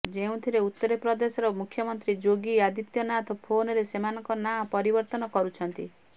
ଯେଉଁଥିରେ ଉତ୍ତରପ୍ରଦେଶର ମୁଖ୍ୟମନ୍ତ୍ରୀ ଯୋଗୀ ଅଦିତ୍ୟନାଥ ଫୋନରେ ସେମାନଙ୍କ ନାଁ ପରିବର୍ତ୍ତନ କରୁଛନ୍ତି